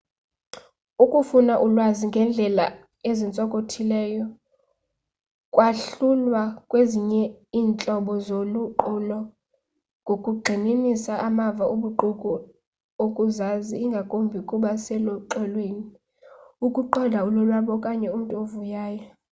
ukufuna ulwazi ngeendlela ezintsokothileyo kwahlulwa kwezinye iintlobo zoluqulo ngokugxininisa amava obuqu okuzazi ingakumbi ukuba seluxolweni ukuqonda ulonwabo okanye umntu ovuyayo